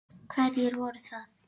Hverjir voru það?